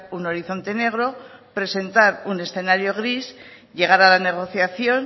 un horizonte negro presentar un escenario gris llegar a la negociación